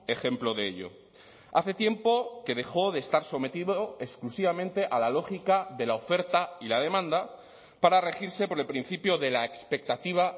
ejemplo de ello hace tiempo que dejó de estar sometido exclusivamente a la lógica de la oferta y la demanda para regirse por el principio de la expectativa